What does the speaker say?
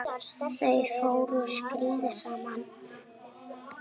Þau fóru á skíði saman.